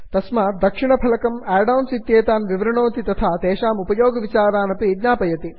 तस्मात् दक्षिणफलकं add ons इत्येतान् विवृणोति तथा तेषाम् उपयोगविचारानपि ज्ञापयति